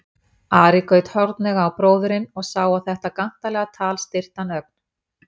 Ari gaut hornauga á bróðurinn og sá að þetta gantalega tal styrkti hann ögn.